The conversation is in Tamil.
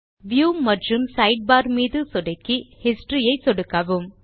வியூ மற்றும் சைட்பார் மீது சொடுக்கி Historyயை சொடுக்கவும்